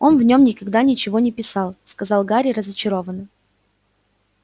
он в нём никогда ничего не писал сказал гарри разочарованно